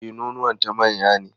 E, nonuwanta manya ne.